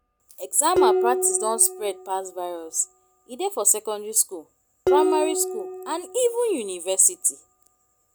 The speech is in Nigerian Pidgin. exam malpractice don spread pass virus e dey for secondary school primary school and even university